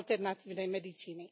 alternatívnej medicíny.